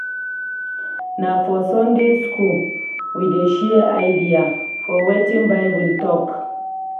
Na for Sunday school we dey share idea for wetin Bible tok.